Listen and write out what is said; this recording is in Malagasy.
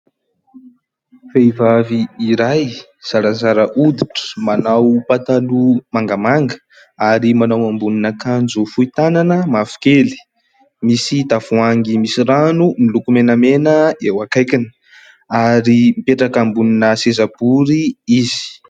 Vehivavy iray zarazara hoditra manao pataloha mangamanga ary manao ambonin'akanjo fohy tanana mavokely, misy tavoahangy misy rano miloko menamena eo akaikiny ary mipetraka ambonina seza bory izy.